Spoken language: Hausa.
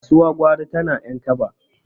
kasuwa gwari tana yan kaba